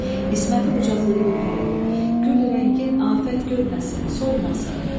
İsməti qucaqlayıb öpərək: Gül rəngin afət görməsin, solmasın.